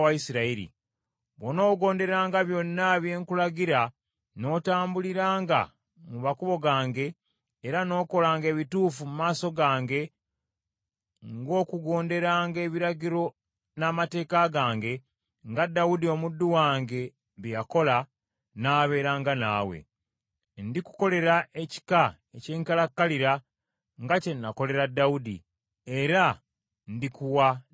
Bw’onoogonderanga byonna bye nkulagira n’otambuliranga mu makubo gange, era n’okolanga ebituufu mu maaso gange ng’okugonderanga ebiragiro n’amateeka gange, nga Dawudi omuddu wange bwe yakola, nnaabeeranga naawe. Ndikukolera ekika eky’enkalakkalira, nga kye nakolera Dawudi, era ndikuwa ne Isirayiri.